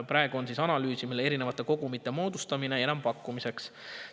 Praegu analüüsitakse erinevate kogumite moodustamist enampakkumiseks.